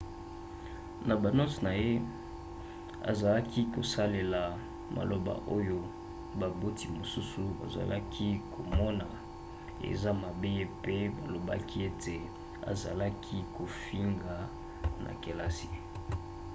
na banote na ye azalaki kosalela maloba oyo baboti mosusu bazalaki komona eza mabe mpe balobaki ete azalaki kofinga na kelasi